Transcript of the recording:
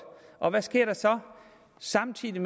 og hvad sker der så samtidig